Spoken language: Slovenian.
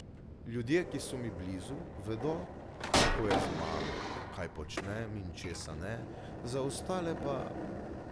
Ljudje, ki so mi blizu, vedo, kako je z mano, kaj počnem in česa ne, za ostale pa ...